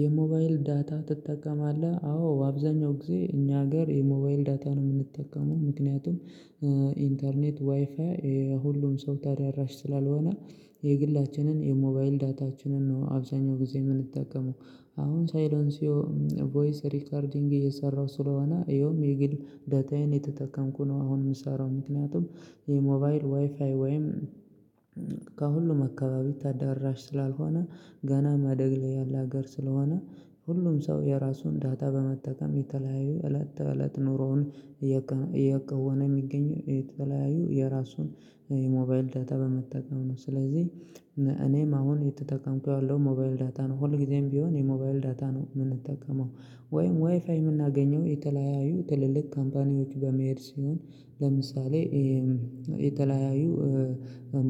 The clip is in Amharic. የሞባይል ዳታ ትጠቀማለህ አዎ በአብዛኛው ጊዜ እኛ ሀገር የሞባይል ዳታ ነው የምንጠቀመው ምክንያቱም ኢንተርኔት ዋይፋይ ሁሉም ሰው ታዳራሽ ስላልሆነ የግላችንን የሞባይል ዳታችንን ነው አብዛኛው ጊዜ የምንጠቀመው አሁን ሳይሎንሲዮ ቮይስ ሪከርዲንግ እየሰራሁ ስለሆነ ይኸውም የግል ዳታዬን የተጠቀምኩ ነው። አሁን የምሰራው ምክንያቱም የሞባይል ዋይፋይ ወይም ከሁሉም አካባቢ ታዳራሽ ስላልሆነ ገና ማደግ ላይ ያለ ሀገር ስለሆነ ሁሉም ሰው የራሱን ዳታ በመጠቀም የተለያዩ እለት እለት ኑሮውን እየከወነ የሚገኘው የተለያዩ የራሱን የሞባይል ዳታ በመጠቀም ነው። ስለዚህ እኔም አሁን የተጠቀምኩት ያለው ሞባይል ዳታ ነው። ሁል ጊዜም ቢሆን የሞባይል ዳታ ነው የምንጠቀመው ወይም ዋይፋይ የማገኘው የተለያዩ ትልልቅ ካምፓኒዎች በመሄድ ሲሆን ለምሳሌ የተለያዩ